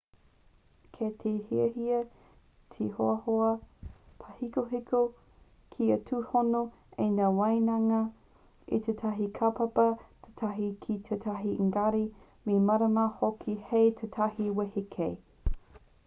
kei te hiahia te hoahoa pāhekoheko kia tūhono ai ngā waehanga o tētahi kaupapa tētahi ki tētahi engari me mārama hoki hei tūtahi wehe kē